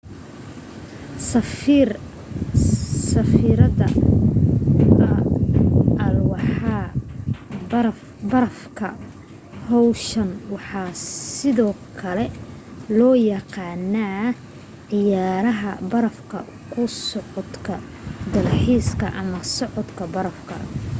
safrida alwaaxa barafka hawshan waxaa sidoo kale loo yaqaanaa ciyaraha baraf ku socodka dalxiiska ama socodka barafka